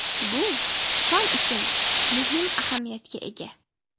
Bu fan uchun muhim ahamiyatga ega.